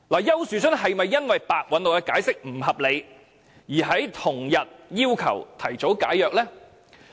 丘樹春是否因為白韞六的解釋不合理，而在同日要求提早解約呢？